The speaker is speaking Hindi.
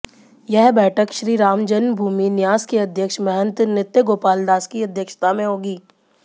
यह बैठक श्रीराम जन्मभूमि न्यास के अध्यक्ष महंत नृत्यगोपाल दास की अध्यक्षता में होगी